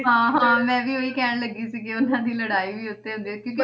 ਹਾਂ ਹਾਂ ਮੈਂ ਵੀ ਉਹੀ ਕਹਿਣ ਲੱਗੀ ਸੀ ਉਹਨਾਂ ਦੀ ਲੜਾਈ ਵੀ ਉੱਥੇ ਹੁੰਦੀ ਆ ਕਿਉਂਕਿ,